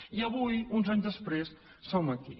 i avui uns anys després som aquí